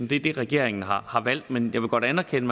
det er det regeringen har har valgt men jeg vil godt anerkende